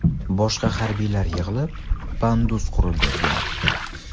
Boshqa harbiylar yig‘ilib, pandus qurib bergan.